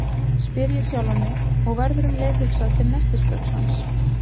spyr ég sjálfan mig, og verður um leið hugsað til nestisbauks hans.